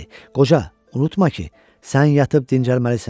Qoca, unutma ki, sən yatıb dincəlməlisən.